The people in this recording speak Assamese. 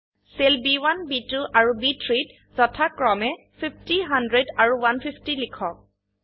সেল ব1 ব2 আৰু ব3 - ত যথাক্ৰমে 50 100 আৰু 150 লিখক